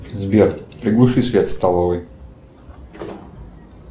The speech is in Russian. сбер приглуши свет в столовой